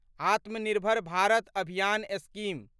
आत्मा निर्भर भारत अभियान स्कीम